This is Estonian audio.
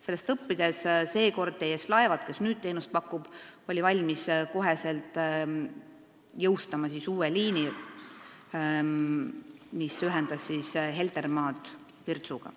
Sellest õppides oli firma TS Laevad, kes nüüd teenust pakub, valmis otsekohe jõustama uue liini, mis ühendas Heltermaad Virtsuga.